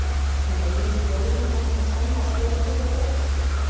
Mun Eyjólfur bróðir þinn taka fram skónna og spila með þér hjá Breiðablik?